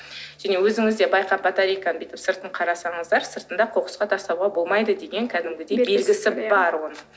және өзіңіз де байқап батарейканы бүйтіп сыртын қарасаңыздар сыртында қоқысқа тастауға болмайды деген кәдімгідей белгісі бар оның